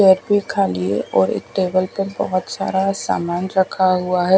Plate भी खाली है और एक टेबल पे बहोत सारा सामान रखा हुआ है।